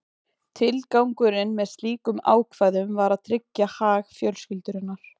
Tilgangurinn með slíkum ákvæðum var að tryggja hag fjölskyldunnar.